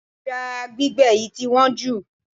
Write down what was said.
Ẹja gbígbẹ yìí tí wọ́n jù.